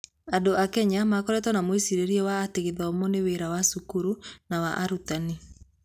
Andũ a Kenya makoretwo na mwĩcirĩrie wa atĩ gĩthomo nĩ wĩra wa cukuru na wa arutani.